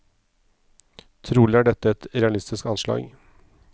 Trolig er dette et realistisk anslag.